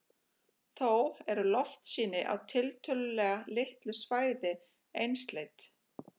þó eru loftsýni á tiltölulega litlu svæði einsleit